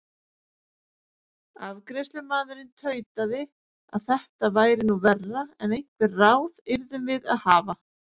Afgreiðslumaðurinn tautaði að þetta væri nú verra en einhver ráð yrðum við að hafa.